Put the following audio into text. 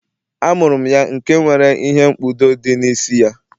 amuru ya nke nwere ihe-nkpudo di n'isi-ya